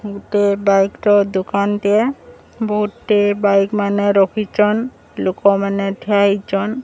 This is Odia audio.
ଗୁଟେ ବାଇକ୍ ର ଦୁକାନ ଟିଏ। ବୋହୁତ୍ ଟେ ବାଇକ୍ ମାନେ ରଖିଚନ୍। ଲୋକମାନେ ଠିଆ ହେଇଚନ୍।